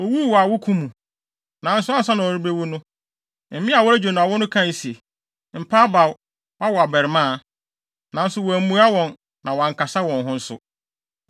Owuu wɔ awoko mu, nanso ansa na ɔrebewu no, mmea a wɔregye no awo no kae se, “Mpa abaw; woawo abarimaa.” Nanso wammua wɔn na wankasa wɔn ho nso.